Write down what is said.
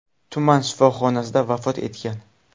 tuman shifoxonasida vafot etgan.